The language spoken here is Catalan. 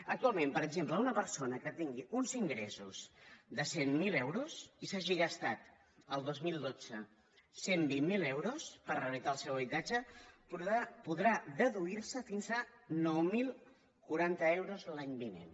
actualment per exemple una persona que tingui uns ingressos de cent miler euros i que s’hagi gastat el dos mil dotze cent i vint miler euros per a rehabilitar el seu habitatge podrà deduir se fins a nou mil quaranta euros l’any vinent